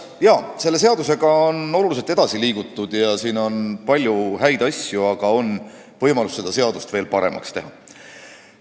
Jaa, selle seadusega on oluliselt edasi liigutud ja siin on palju häid asju, aga on võimalus seda seadust veel paremaks teha.